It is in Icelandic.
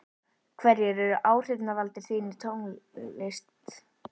hverjir eru áhrifavaldar þínir í tónlist?